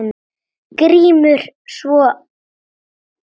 GRÍMUR: Svo?